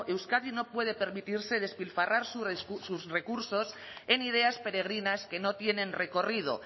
euskadi no puede permitirse despilfarrar sus recursos en ideas peregrinas que no tienen recorrido